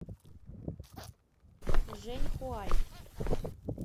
жэньхуай